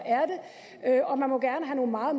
er det og man må gerne have nogle meget